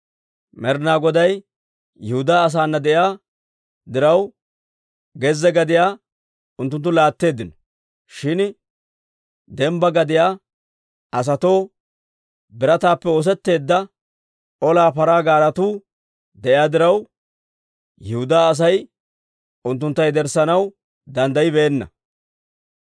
Med'inaa Goday Yihudaa asaana de'iyaa diraw, gezze gadiyaa unttunttu laatteeddino; shin dembbaa gadiyaa asatoo birataappe oosetteedda olaa paraa gaaretuu de'iyaa diraw, Yihudaa Asay unttuntta yederssanaw danddayibeenna.